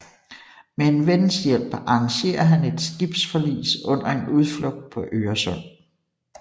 Med en vens hjælp arrangerer han et skibsforlis under en udflugt på Øresund